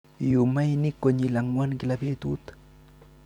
Iyuum mainik konyil angwan kila betut.